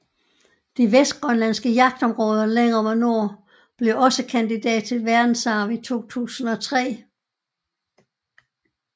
De vestgrønlandske jagtområder længere mod nord blev også kandidat til verdensarv i 2003